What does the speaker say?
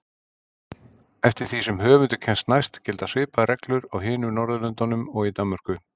Eftir því sem höfundur kemst næst gilda svipaðar reglur á hinum Norðurlöndunum og í Danmörku.